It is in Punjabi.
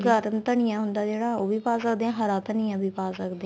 ਗਾਦਨ ਧੰਨੀਆ ਹੁੰਦਾ ਜਿਹੜਾ ਉਹ ਵੀ ਪਾ ਸਕਦੇ ਆ ਹਰਾ ਧੰਨੀਆ ਵੀ ਪਾ ਸਕਦੇ ਆ